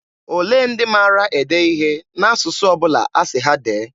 Olee ndị maara ede ihe n'asụsụ ọ bụla asị ha dee?